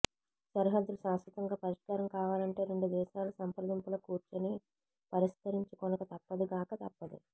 సరిహద్దులు శాశ్వతంగా పరిష్కారం కావాలంటే రెండు దేశాలు సంప్రదింపులకు కూర్చుని పరిష్కరించుకొనక తప్పదుగాక తప్పదు